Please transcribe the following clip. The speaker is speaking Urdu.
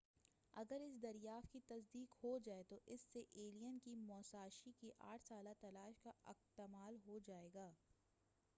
اگر اس دریافت کی تصدیق ہو جائے تو اس سے ایلین کی موساشی کی آٹھ سالہ تلاش کا اکتمال ہو جائے گا